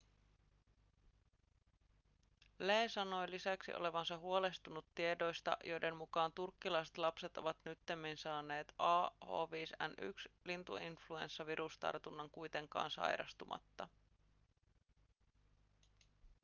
lee sanoi lisäksi olevansa huolestunut tiedoista joiden mukaan turkkilaiset lapset ovat nyttemmin saaneet ah5n1-lintuinfluenssavirustarunnan kuitenkaan sairastumatta